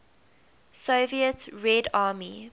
soviet red army